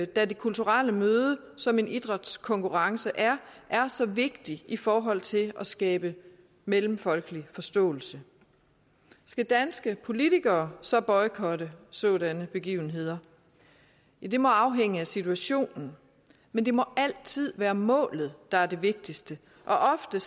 da det kulturelle møde som en idrætskonkurrence er er så vigtigt i forhold til at skabe mellemfolkelig forståelse skal danske politikere så boykotte sådanne begivenheder ja det må afhænge af situationen men det må altid være målet der er det vigtigste og ofte